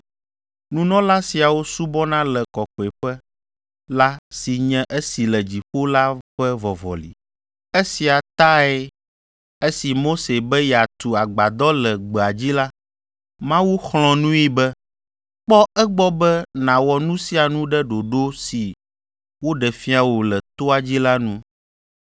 Nunɔla siawo subɔna le kɔkɔeƒe la si nye esi le dziƒo la ƒe vɔvɔli. Esia tae, esi Mose be yeatu Agbadɔ le gbea dzi la, Mawu xlɔ̃ nui be, “Kpɔ egbɔ be nàwɔ nu sia nu ɖe ɖoɖo si woɖe fia wò le toa dzi la nu.”